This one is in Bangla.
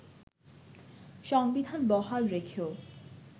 সংবিধান বহাল রেখেও